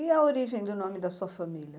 E a origem do nome da sua família?